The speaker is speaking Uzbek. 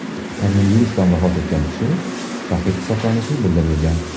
Koronavirusdan vafot etgan kishi shahid hisoblanishi bildirilgan .